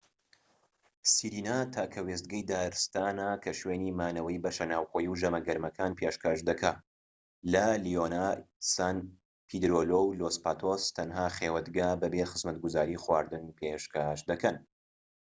سیرینا تاکە وێستگەی دارتسانە کە شوێنی مانەوەی بەشە ناوخۆیی و ژەمە گەرمەکان پێشکەش دەکات لا لیۆنا سان پێدریلۆ و لۆس پاتۆس تەنها خێوەتگا بەبێ خزمەتگوزاری خواردن پێشکەش دەکەن